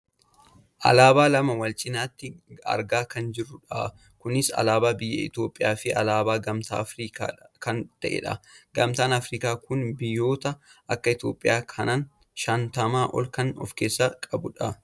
alaabaa lama wal cinaatti argaa kan jirrudha. kunis alaabaa biyya Itoopiyaa fi alaabaa Gamtaa Aafriikaa kan ta'edha. gamtaan Aafrikaa kun biyyoota akka Itoopiyaa kana shantamaa ol kan of keessaa qabudha.